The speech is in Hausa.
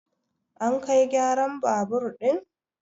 an kai gyaran babur ɗin!